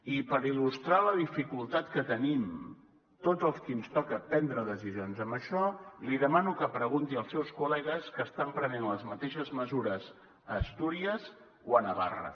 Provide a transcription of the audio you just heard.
i per il·lustrar la dificultat que tenim tots els qui ens toca prendre decisions amb això li demano que pregunti als seus col·legues que estan prenent les mateixes mesures a astúries o a navarra